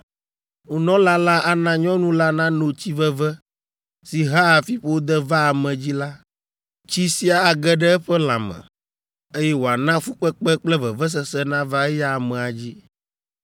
Nunɔla la ana nyɔnu la nano tsi veve si hea fiƒode vaa ame dzi la, tsi sia age ɖe eƒe lãme, eye wòana fukpekpe kple vevesese nava eya amea dzi.